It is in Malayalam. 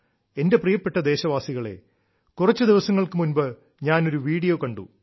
എന്റെ പ്രിയപ്പെട്ട ദേശവാസികളേ കുറച്ചു ദിവസങ്ങൾക്കു മുൻപ് ഞാൻ ഒരു വീഡിയോ കണ്ടു